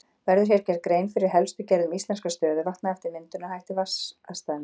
Verður hér gerð grein fyrir helstu gerðum íslenskra stöðuvatna eftir myndunarhætti vatnastæðanna.